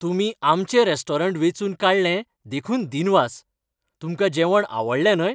तुमी आमचें रॅस्टोरंट वेंचून काडलें देखून दिनवास. तुमकां जेवण आवडलें न्हय?